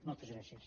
moltes gràcies